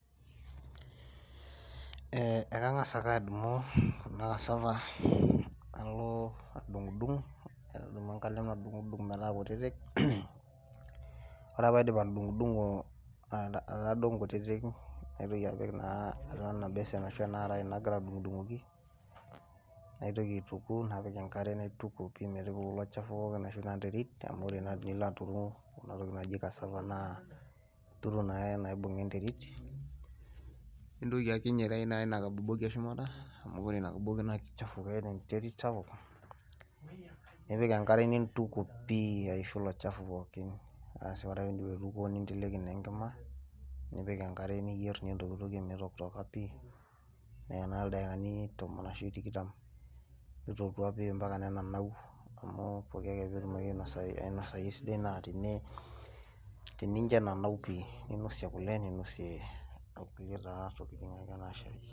Eeh, ekangas ake adumu ena cassava nalo adungdung nadumu enkalem nadungdung metaa kutitik , wore ake peyie aidip atudungdungo aitaa duo inkutitik naitoki apik naa atua enabasin ashu enakaraye nagira adungoki , naitoki aituku napik enkare naituku pii metuku ilo chafu pookin ashu inaterit amu wore tinilo aturu kuna tokiting naji cassava naa ituru naa naibunga enterit , nintoki akiny naa aitayu inakaboboki eshumata amu wore ina kaboboki naa kichafu keeta enterit sapuk nipik enkare nituku pii aishu ilo chafu pookin, aasi wore ake pii idip aituko ninteleki naa enkima , nipik enkare niyerr , nintokitokie mitokitoka pii , neyaa ildaikani tomon ashu tikitam mitotoua pii ampaka neenanau amu pooke ake pee inasayu esidai naa tininjo enanau pii , nainosie kule, nainosie kuliaa taa tokiting anaa shai.